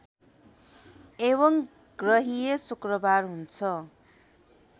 एवं ग्रहीय शुक्रबार हुन्छ